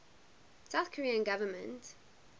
south korean government